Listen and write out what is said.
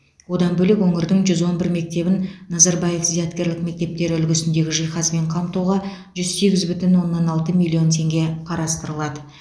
одан бөлек өңірдің жүз он бір мектебін назарбаев зияткерлік мектептері үлгісіндегі жиһазбен қамтуға жүз сегіз бүтін оннан алты миллион теңге қарастырылады